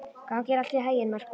Gangi þér allt í haginn, Merkúr.